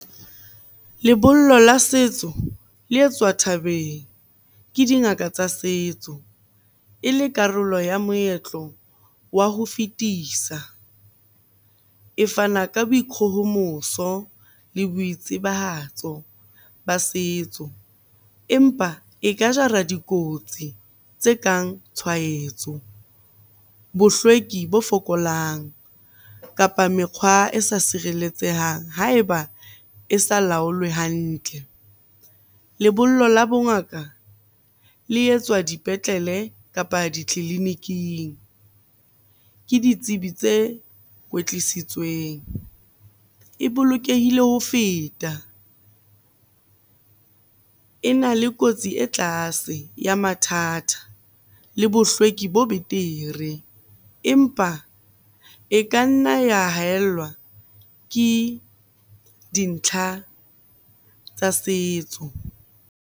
Lebollo la setso le etswa thabeng ke dingaka tsa setso, e le karolo ya moetlo wa ho fetisa. E fana ka boikgohomoso le boitsibahatso ba setso, empa e ka jara dikotsi tse kang tshwahetso, bohlweki bo fokolang, kapa mekgwa e sa sireletsehang ha eba e sa laolwe hantle. Lebollo la bongaka le etswa dipetlele kapa ditleliniking ke ditsebi tse kwetlisitsweng. E bolokehile ho feta, e na le kotsi e tlase ya mathata le bohlweki bo betere. Empa e ka nna ya haellwa ke dintlha tsa setso.